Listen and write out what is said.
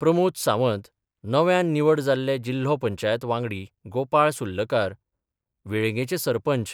प्रमोद सावंत नव्यान निवड जाल्ले जिल्हो पंचायत वांगडी गोपाळ सुर्लकार, वेळगेंचे सरपंच